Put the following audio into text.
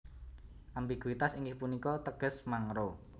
Ambiguitas inggih punika teges mangro